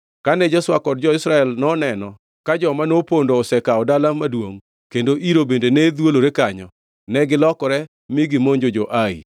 Kane Joshua kod jo-Israel noneno ka joma nopondo osekawo dala maduongʼ kendo iro bende ne dhwolore kanyo, negilokore mi gimonjo jo-Ai.